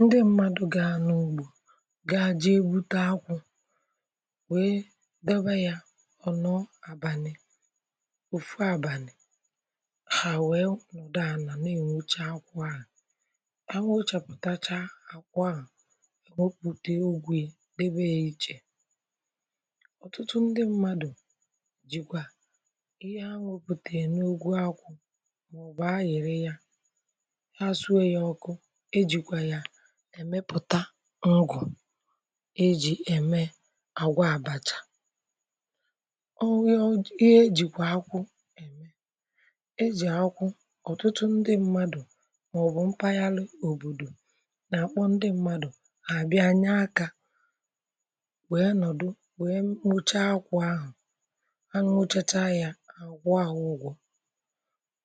ndị mmadụ̀ gị à n’ugbò ga-ajị̇ ebute akwụ̇ wee debe ya ọ̀ nọọ àbanị, òfu àbanị̀ à wee nwụdọ ànà na-enwecha akwụ̇ ahụ̀ ,awụchàpụtacha akwụọ à èmepùte ogwè debe ya ichè, ọ̀tụtụ ndị mmadụ̀ jìkwà ihe awụ̀pùtà ènukwu akwụ̇ mà ọ̀bọ̀ añere ya ẹmẹpụta ọgụ e ji ẹmẹ àgwa abacha, ọwụ ya ihe ejìkwà akwụ e jì akwụ ọtụtụ ndị mmadụ̀ màọbụ mpaghara òbòdò nà-àkpọ ndị mmadụ̀ nà-àbịa anya akȧ wee nọ̀dụ wee m̀mụcha akwụ̇ ahụ̀ ,anụ ochacha ya àgwọ àhụ ụgwọ̇,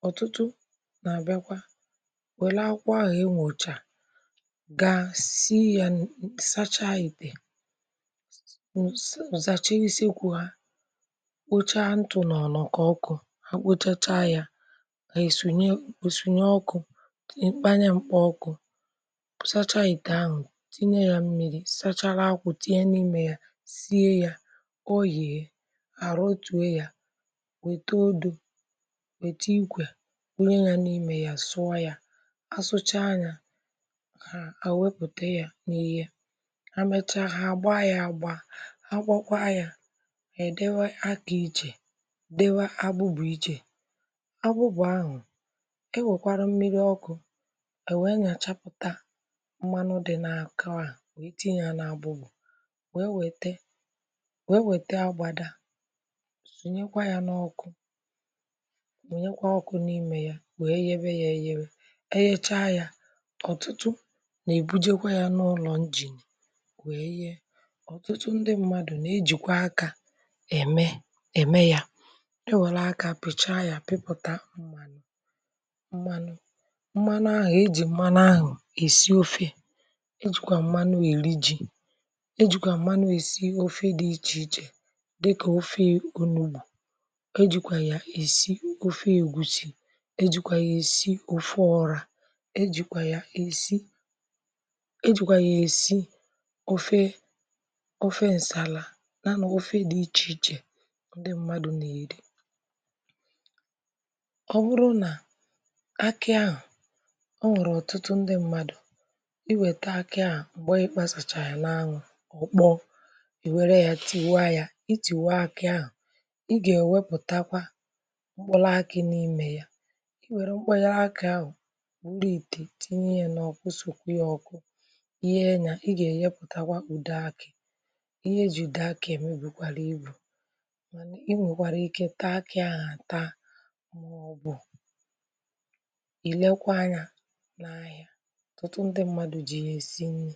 ọtụtụ nà-àbịakwa wẹ̀lụ akwụ̇ ahụ̀ e nwòcha gà si yà nsacha itè nsacha isekwù ha, kpochaa ntụ̀ nọ̀ nọ̀ kà ọkụ ha kpochacha yà ha èsonye ọkụ̇ n’ekpeanya mkpà ọkụ̇ sacha itè ahụ̀ tinye yà mmiri̇ sachara akwụ̀ tinye n’ime yà sie yà, ọ yìè hàrà otùwe yà wète odȯ wète ikwè bunye yà n’ime yà sụà yà ,a sụchaa yà ha, ha wepụta ya n’ihe ha mechaa ha, gbaa ya agba agbọkwa ya e dewe akị ichè, dewa agbụbụ iche, agbụbụ ahụ e nwekwarụ mmiri ọkụ̇ e wee nyachapụta mmanụ dị na akawa wee tinye na-abụgbụ wee weta wee weta agbada sonyekwa ya n’ọkụ, wee nyekwa ọkụ n’imė ya wee gebe ya eghere nà-èbujekwa yȧ n’ụlọ̀ njì nwèe ye, ọ̀tụtụ ndị mmadụ̀ nà-ejìkwa akȧ ème ème yȧ ,ndị nwèlè akȧ àpịchaa yȧ pịpụ̇ta mmȧnụ̇, mmanụ ahụ̀ ejì mmanụ ahụ̀ èsi ofė, ejìkwà mmanụ èri ji, ejìkwà mmanụ èsi ofė dị ichè ichè dịkà ofė unùgbù, ejìkwà yà èsi ofė ègwùsì ,ejìkwà yà èsi ofe ọrȧ ,e jìkwà yà èsi ofe ofe ǹsàlà, n’anọ̇ ofe dị ichè ichè ndị mmadụ̇ na-èri. ọ bụrụ nà akị ahụ̀ ọ nwèrè ọ̀tụtụ ndị mmadụ̀ i wèta akị ahụ̀ m̀gbè ịkpȧsàchàrà n’anwụ̇ ọ̀ kpọ̀ọ, ì wère ya, tìwa ya i tìwa akị ahụ̀ ị gà ọ̀ wepùtakwa mkpụlụ akị̇ n’imė ya i wère mkpụnyere akị ahụ̀ ihe gà-ènyepùtakwa kpùdo akị̇ ihe ejìdo akị̇ ème bùkwàrà ịbụ̀ mànà i nwèkwàrà ike taa akị̇ aghà taa màọbụ̀ ìrekwa anyȧ n’ahịa tụtụ ndị mmadụ̀ jì nà-èsi nri̇